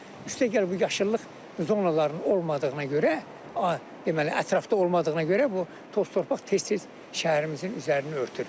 Üstəgəl bu yaşıllıq zonalarının olmadığına görə, deməli, ətrafda olmadığına görə bu toz-torpaq tez-tez şəhərimizin üzərini örtür.